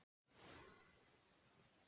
Allir voru þeir eftir hádegi